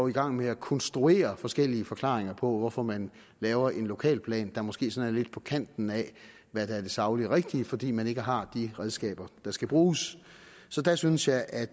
i gang med at konstruere forskellige forklaringer på hvorfor man laver en lokalplan der måske sådan er lidt på kanten af hvad der er det sagligt rigtige fordi man ikke har de redskaber der skal bruges så der synes jeg at